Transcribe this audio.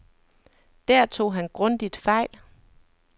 Der tog han grundigt fejl.